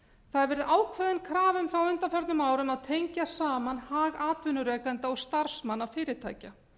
það hefur verið ákveðin krafa um það á undanförnum árum að tengja saman hag atvinnurekenda og starfsmanna fyrirtækja